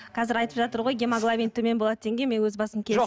қазір айтып жатыр ғой гемоглобин төмен болады дегенге мен өзім басым жоқ